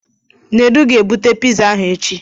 Nedu ga-ebute piza ahụ echi.